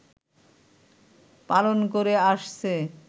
পালন করে আসছে